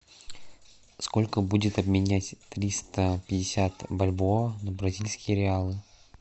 сколько будет обменять триста пятьдесят бальбоа на бразильские реалы